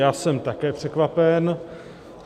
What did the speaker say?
Já jsem také překvapen.